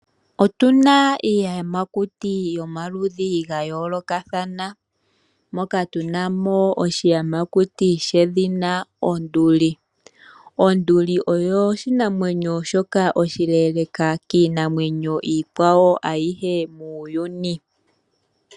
Otuna iiyamakuta yomaludhi ga yoolokathana. Moka tuna mo oshiyamakuti shedhina onduli. Onduli oyo oshinamwenyo shoka oshileleka kiinamwenyo iikwawo ayihe muuyuni.